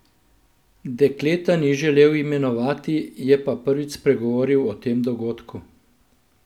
Dekleta ni želel imenovati, je pa prvič spregovoril o tem dogodku.